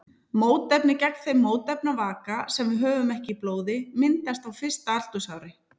Mótefni gegn þeim mótefnavaka sem við höfum ekki í blóði myndast á fyrsta aldursári.